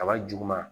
Kaba juguman